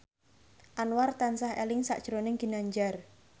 Anwar tansah eling sakjroning Ginanjar